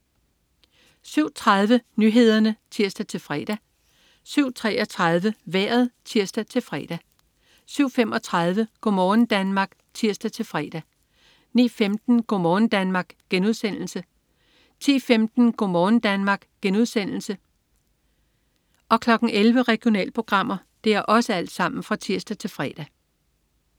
07.30 Nyhederne (tirs-fre) 07.33 Vejret (tirs-fre) 07.35 Go' morgen Danmark (tirs-fre) 09.15 Go' morgen Danmark* (tirs-fre) 10.15 Go' morgen Danmark* (tirs-fre) 11.00 Regionalprogrammer (tirs-fre)